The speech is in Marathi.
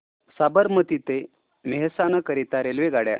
साबरमती ते मेहसाणा करीता रेल्वेगाड्या